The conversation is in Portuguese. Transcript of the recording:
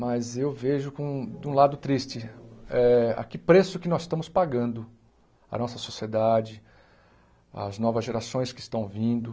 Mas eu vejo, com um de um lado triste, eh a que preço que nós estamos pagando à nossa sociedade, às novas gerações que estão vindo.